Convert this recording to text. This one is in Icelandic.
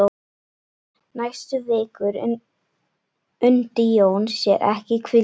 Næstu vikur undi Jón sér ekki hvíldar.